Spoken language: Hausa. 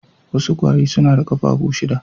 Wasu kwari suna da kafafu shida